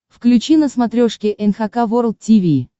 включи на смотрешке эн эйч кей волд ти ви